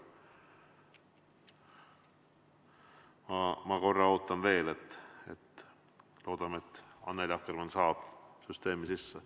Ma natuke ootan veel, loodame, et Annely Akkermann saab süsteemi sisse.